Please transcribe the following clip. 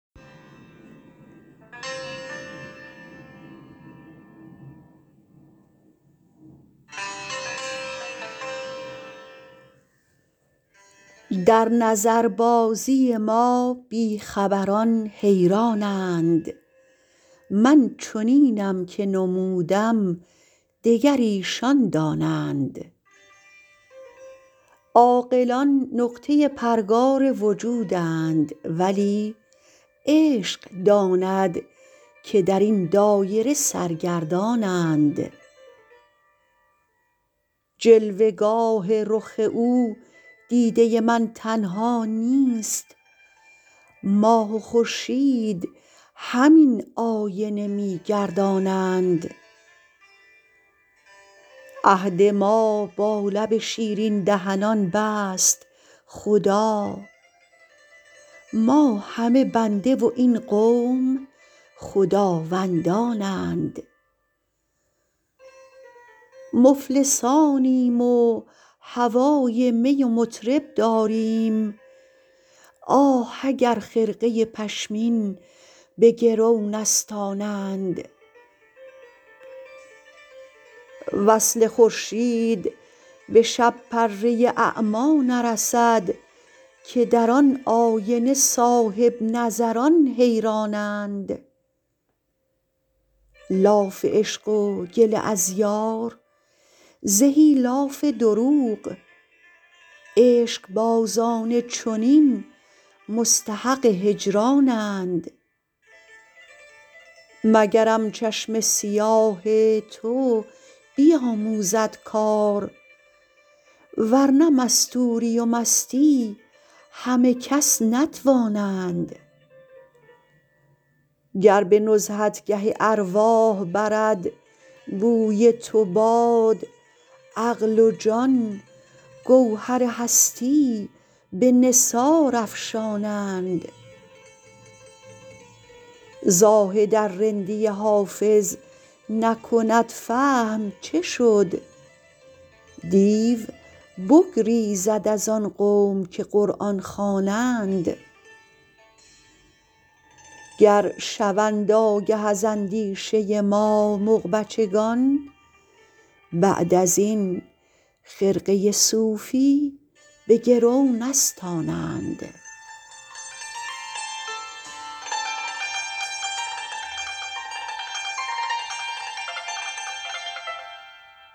در نظربازی ما بی خبران حیران اند من چنینم که نمودم دگر ایشان دانند عاقلان نقطه پرگار وجودند ولی عشق داند که در این دایره سرگردان اند جلوه گاه رخ او دیده من تنها نیست ماه و خورشید همین آینه می گردانند عهد ما با لب شیرین دهنان بست خدا ما همه بنده و این قوم خداوندان اند مفلسانیم و هوای می و مطرب داریم آه اگر خرقه پشمین به گرو نستانند وصل خورشید به شب پره اعمی نرسد که در آن آینه صاحب نظران حیران اند لاف عشق و گله از یار زهی لاف دروغ عشق بازان چنین مستحق هجران اند مگرم چشم سیاه تو بیاموزد کار ورنه مستوری و مستی همه کس نتوانند گر به نزهتگه ارواح برد بوی تو باد عقل و جان گوهر هستی به نثار افشانند زاهد ار رندی حافظ نکند فهم چه شد دیو بگریزد از آن قوم که قرآن خوانند گر شوند آگه از اندیشه ما مغ بچگان بعد از این خرقه صوفی به گرو نستانند